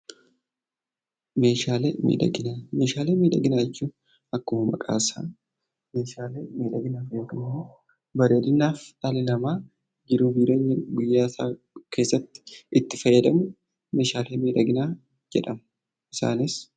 Meeshaalee miidhaginaa Meeshaalee miidhaginaa jechuun akkuma maqaa isaa Meeshaalee miidhaginaaf yookaan immoo bareedinaaf dhalli namaa jiruu fi jireenya guyyaa guyyaa Keessatti itti fayyadamu Meeshaalee miidhaginaa jedhamu. Isaanis